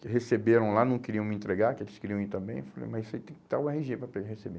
que receberam lá, não queriam me entregar, que eles queriam ir também, eu falei, mas tem que estar o erre gê para receber.